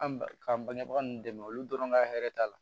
An ba k'an bangebaga ninnu dɛmɛ olu dɔrɔn ka hɛrɛ t'a la